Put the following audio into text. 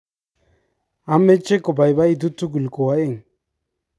ameche kobaibaitu tugul ko oeng'